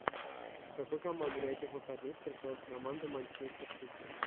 с какой командой на этих выходных встречалась команда манчестер сити